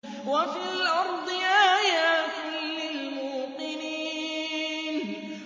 وَفِي الْأَرْضِ آيَاتٌ لِّلْمُوقِنِينَ